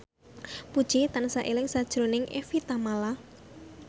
Puji tansah eling sakjroning Evie Tamala